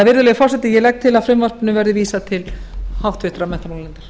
virðulegi forseti ég legg til að frumvarpinu verði vísað til háttvirtrar menntamálanefndar